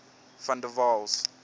van der waals